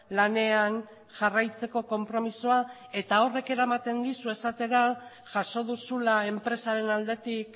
lanean jarraitzeko konpromisoa eta horrek eramaten dizu esatera jaso duzula enpresaren aldetik